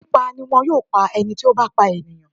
Pípa ni wọn yóò pá ẹni tí ó bá pa ènìyàn.